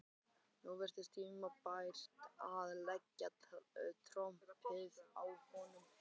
Nú virtist tímabært að leggja trompið á borðið.